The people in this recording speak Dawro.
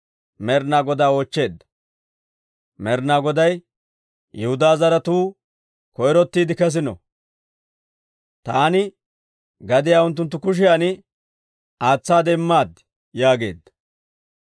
Med'inaa Goday, «Yihudaa zaratuu koyrottiide kesino. Taani gadiyaa unttunttu kushiyan aatsaade immaad» yaageedda.